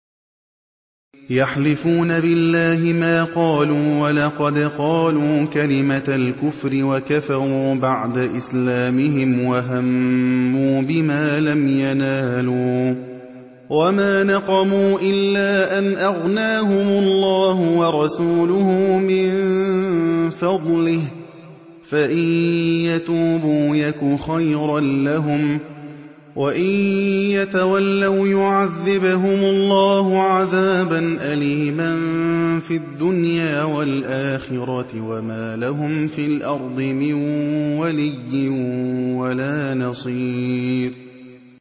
يَحْلِفُونَ بِاللَّهِ مَا قَالُوا وَلَقَدْ قَالُوا كَلِمَةَ الْكُفْرِ وَكَفَرُوا بَعْدَ إِسْلَامِهِمْ وَهَمُّوا بِمَا لَمْ يَنَالُوا ۚ وَمَا نَقَمُوا إِلَّا أَنْ أَغْنَاهُمُ اللَّهُ وَرَسُولُهُ مِن فَضْلِهِ ۚ فَإِن يَتُوبُوا يَكُ خَيْرًا لَّهُمْ ۖ وَإِن يَتَوَلَّوْا يُعَذِّبْهُمُ اللَّهُ عَذَابًا أَلِيمًا فِي الدُّنْيَا وَالْآخِرَةِ ۚ وَمَا لَهُمْ فِي الْأَرْضِ مِن وَلِيٍّ وَلَا نَصِيرٍ